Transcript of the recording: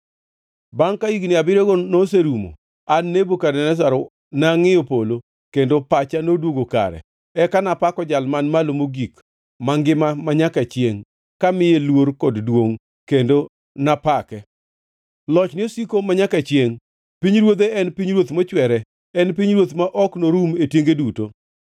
Bangʼ ka higni abiriyogo noserumo, an Nebukadneza nangʼiyo polo, kendo pacha noduogo kare. Eka napako Jal Man Malo Mogik, mangima manyaka chiengʼ kamiye luor kod duongʼ kendo napake. Lochne osiko manyaka chiengʼ; pinyruodhe en pinyruoth mochwere en pinyruodh ma ok norum e tienge duto.